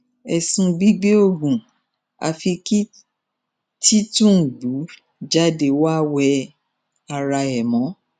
ẹ̀sùn gbígbé oògùn àfi kí tìtúngbù jáde kó wá wẹ ara ẹ̀ mọ́